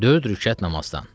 Dörd rükət namazdan.